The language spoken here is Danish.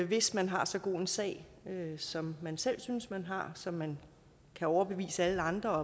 hvis man har så god en sag som man selv synes man har så man kan overbevise alle andre og